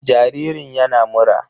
Jaririn yana mura.